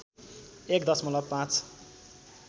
१ दशमलव ५